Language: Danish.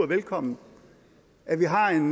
velkommen at vi har en